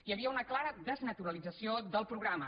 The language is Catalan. hi havia una clara desnaturalització del programa